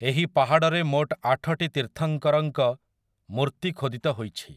ଏହି ପାହାଡ଼ରେ ମୋଟ ଆଠଟି ତୀର୍ଥଙ୍କରଙ୍କ ମୂର୍ତ୍ତି ଖୋଦିତ ହୋଇଛି ।